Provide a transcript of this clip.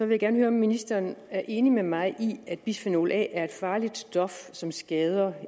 vil gerne høre om ministeren er enig med mig i at bisfenol a er et farligt stof som skader